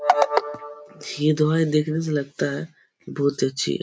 ये दवाएं देखने से लगता है। की बोहोत ही अच्छी है।